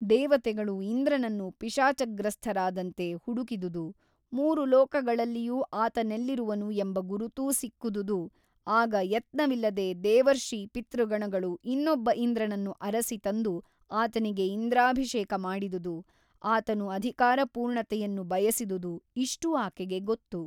ದೇವತೆಗಳು ಇಂದ್ರನನ್ನು ಪಿಶಾಚಗ್ರಸ್ಥರಾದಂತೆ ಹುಡುಕಿದುದು ಮೂರು ಲೋಕಗಳಲ್ಲಿಯೂ ಆತನೆಲ್ಲಿರುವನು ಎಂಬ ಗುರುತೂ ಸಿಕ್ಕುದುದು ಅಗ ಯತ್ನವಿಲ್ಲದೆ ದೇವರ್ಷಿಪಿತೃಗಣಗಳು ಇನ್ನೊಬ್ಬ ಇಂದ್ರನನ್ನು ಅರಸಿ ತಂದು ಆತನಿಗೆ ಇಂದ್ರಾಭಿಷೇಕ ಮಾಡಿದುದು ಆತನು ಅಧಿಕಾರಪೂರ್ಣತೆಯನ್ನು ಬಯಸಿದುದು ಇಷ್ಟೂ ಆಕೆಗೆ ಗೊತ್ತು.